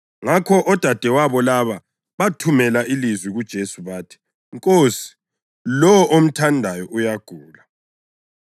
Ngakho odadewabo laba bathumela ilizwi kuJesu bathi, “Nkosi, lowo omthandayo uyagula.”